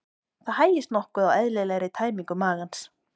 Það hægist nokkuð á eðlilegri tæmingu magans.